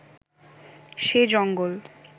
সে জঙ্গল